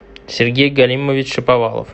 сергей галимович шаповалов